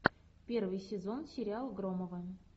первый сезон сериал громовы